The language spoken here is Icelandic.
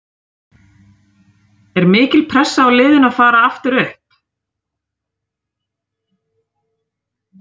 Er mikil pressa á liðinu að far aftur upp?